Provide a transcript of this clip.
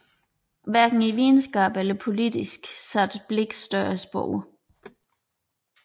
Hverken i videnskab eller politik satte Blix større spor